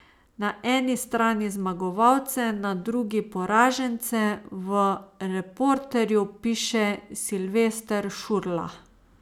Na eni strani zmagovalce, na drugi poražence, V Reporterju piše Silvester Šurla.